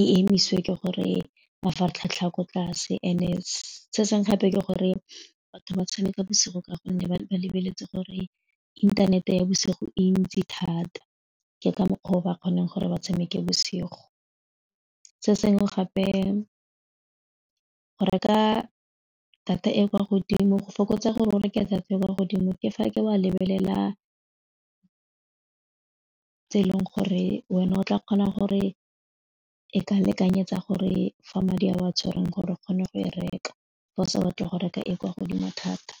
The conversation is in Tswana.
e emise ke gore mafaratlhatlha ko tlase and se sengwe gape ke gore batho ba tshameka bosigo ka gonne ba ba lebeletse gore inthanete ya bosigo e ntsi thata ke ka mokgwa o ba kgone gore ba tshameke bosigo, se sengwe gape go reka data e kwa godimo go fokotsa gore o reke data e kwa godimo ke fa ke wa lebelela tse e leng gore wena o tla kgona gore e ka lekanyetsa gore fa madi a o a tshwereng gore o kgone go e reka fa o sa batle go reka e kwa godimo thata.